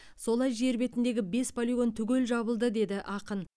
солай жер бетіндегі бес полигон түгел жабылды деді ақын